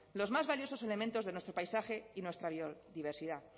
los más valiosos elementos de nuestro paisaje y nuestra biodiversidad